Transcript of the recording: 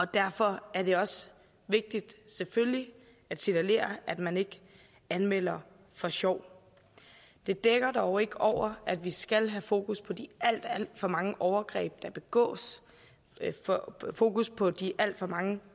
derfor er det også vigtigt selvfølgelig at signalere at man ikke anmelder for sjov det dækker dog ikke over at vi skal have fokus på de alt alt for mange overgreb der begås fokus på de alt for mange